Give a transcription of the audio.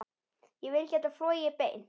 Ég vil geta flogið beint.